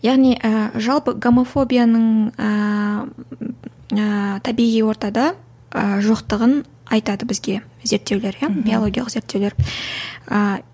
яғни ы жалпы гомофобияның ыыы табиғи ортада ы жоқтығын айтады бізге зерттеулер иә биологиялық зерттеулер